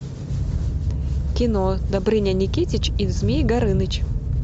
кино добрыня никитич и змей горыныч